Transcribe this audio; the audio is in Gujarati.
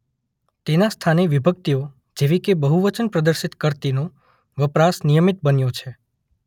તેના સ્થાને વિભક્તિઓ જેવી કે બહુવચન પ્રદર્શિત કરતીનો વપરાશ નિયમિત બન્યો છે.